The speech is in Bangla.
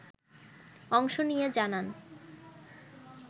অংশ নিয়ে জানান